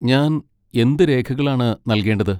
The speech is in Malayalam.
ഞാൻ എന്ത് രേഖകളാണ് നൽകേണ്ടത്?